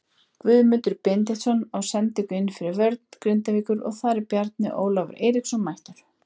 Guðmundur Benediktsson á sendingu inn fyrir vörn Grindavíkur og þar er Bjarni Ólafur Eiríksson mættur.